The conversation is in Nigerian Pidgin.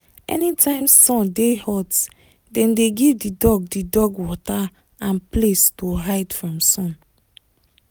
anytime sun dey hot dem dey give the dog the dog water and place to hide from sun.